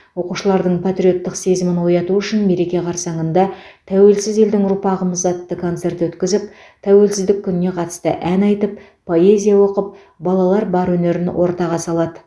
оқушылардың патриоттық сезімін ояту үшін мереке қарсаңында тәуелсіз елдің ұрпағымыз атты концерт өткізіп тәуелсіздік күніне қатысты ән айтып поэзия оқып балалар бар өнерін ортаға салады